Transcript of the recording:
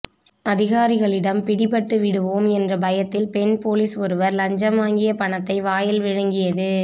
அதிகாரிகளிடம் பிடிபட்டு விடுவோம் என்ற பயத்தில் பெண் போலீஸ் ஒருவர் லஞ்சம் வாங்கிய பணத்தை வாயில் விழுங்கியது